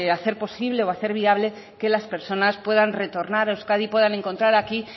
hacer posible o hacer viable que las personas puedan retornar a euskadi puedan encontrar aquí